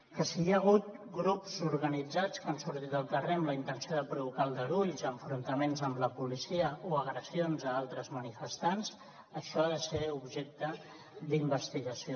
que si hi ha hagut grups organitzats que han sortit al carrer amb la intenció de provocar aldarulls enfrontaments amb la policia o agressions a altres manifestants això ha de ser objecte d’investigació